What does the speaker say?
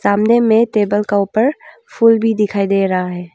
सामने में टेबल का ऊपर फूल भी दिखाई दे रहा है।